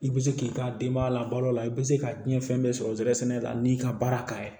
I bɛ se k'i ka denbaya labalo la i bɛ se ka diɲɛ fɛn bɛɛ sɔrɔ zɛrɛn sɛnɛ la n'i ka baara ka ye